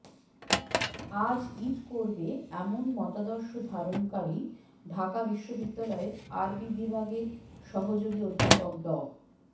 আজ ঈদ করবে এমন মতাদর্শ ধারণকারী ঢাকা বিশ্ববিদ্যালয়ের আরবি বিভাগের সহযোগী অধ্যাপক ড